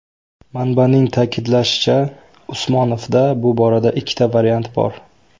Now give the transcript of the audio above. Manbaning ta’kidlashicha, Usmonovda bu borada ikkita variant bor.